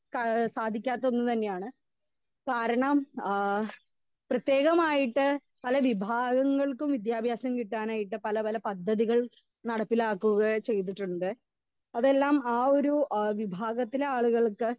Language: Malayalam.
സ്പീക്കർ 2 ഏഹ് സാധിക്കാത്തത് തന്നെയാണ് കാരണം ആ പ്രേതകമായിട്ട് പല വിഭാവങ്ങൾക്കും വിദ്യാഭ്യാസം കിട്ടാനായിട്ട് പല പല പദ്ധതികൾ നടപ്പിലാക്കുക ചെയ്തിട്ടുണ്ട് അതെല്ലാം ആ ഒരു എഹ് വിഭാഗത്തിലെ ആളുകൾക്ക്